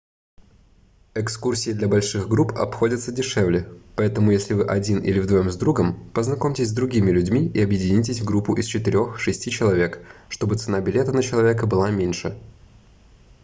экскурсии для больших групп обходятся дешевле поэтому если вы один или вдвоем с другом познакомьтесь с другими людьми и объединитесь в группу из четырех-шести человек чтобы цена билета на человека была меньше